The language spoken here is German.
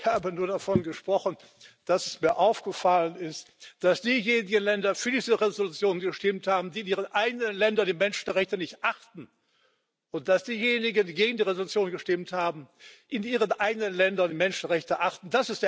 Ich habe nur davon gesprochen, dass mir aufgefallen ist, dass diejenigen Länder für diese Resolution gestimmt haben, die in ihren eigenen Ländern die Menschenrechte nicht achten, und dass diejenigen, die gegen die Resolution gestimmt haben, in ihren eigenen Ländern die Menschenrechte achten.